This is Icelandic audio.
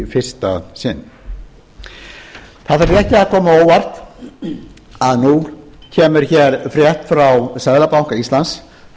ekki að koma á óvart að nú kemur hér frétt frá seðlabanka íslands